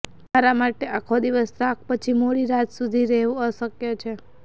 મારા માટે આખો દિવસ થાક પછી મોડી રાત સુધી રહેવું અશક્ય છે